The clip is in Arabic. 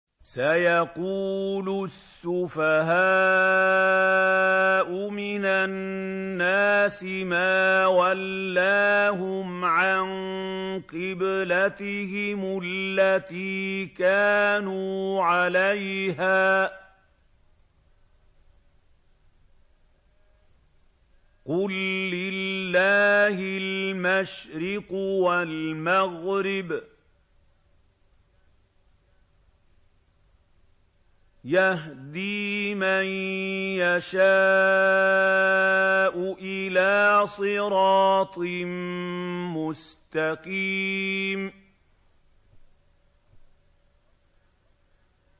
۞ سَيَقُولُ السُّفَهَاءُ مِنَ النَّاسِ مَا وَلَّاهُمْ عَن قِبْلَتِهِمُ الَّتِي كَانُوا عَلَيْهَا ۚ قُل لِّلَّهِ الْمَشْرِقُ وَالْمَغْرِبُ ۚ يَهْدِي مَن يَشَاءُ إِلَىٰ صِرَاطٍ مُّسْتَقِيمٍ